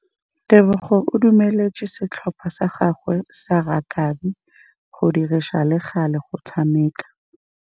Tebogô o dumeletse setlhopha sa gagwe sa rakabi go dirisa le galê go tshameka.